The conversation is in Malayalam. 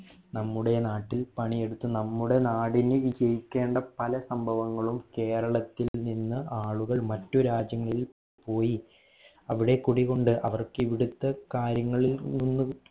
നമ്മുടെ നാട്ടിൽ പണി എടുത്ത് നമ്മുടെ നാടിന് വിജയിക്കേണ്ട പല സംഭവങ്ങളും കേരളത്തിൽ നിന്നും ആളുകൾ മറ്റു രാജ്യങ്ങളിൽ പോയി അവിടെ കുടികൊണ്ട് അവർക്ക് ഇവിടുത്തെ കാര്യങ്ങളിൽ നിന്നും